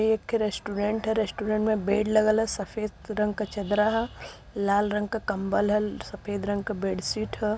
ये एक रेस्टोरेंट ह। रेस्टोरेंट में बेड लगल ह। सफ़ेद रंग का चदरा ह। लाल रंग का कम्बल ह। सफ़ेद रंग का बेडशीट ह।